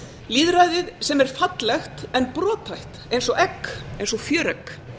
lýðræðið sem er fallegt en brothætt eins og egg eins og fjöregg